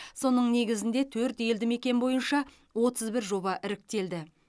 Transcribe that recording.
соның негізінде төрт елді мекен бойынша отыз бір жоба іріктелді